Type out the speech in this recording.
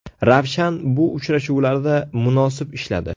Ravshan bu uchrashuvlarda munosib ishladi.